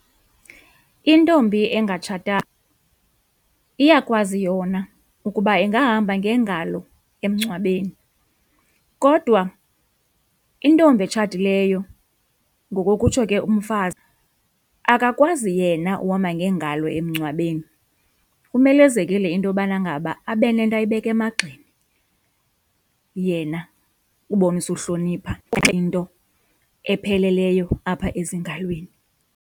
Intombi engatshatanga iyakwazi yona ukuba ingahamba ngeengalo emngcwabeni, kodwa intombi etshatileyo ngokokutsho ke umfazi akakwazi yena uhamba ngeengalo emngcwabeni kumelezekile into yobana ngaba abe nento ayibeka emagxeni yena ubonisa uhlonipha into epheleleyo apha ezingalweni.